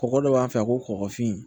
Kɔgɔ dɔ b'an fɛ yan ko kɔgɔfin